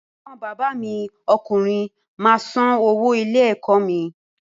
Ẹ̀gbọ́n bàbá mi ọkùnrin máa san owó ilé-ẹ̀kọ́ mi.